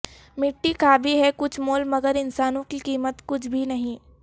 مٹی کا بھی ہے کچھ مول مگر انسانوں کی قیمت کچھ بھی نہیں